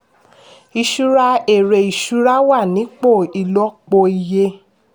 ìṣura èrè ìṣura wà nípò ìlòpò iye.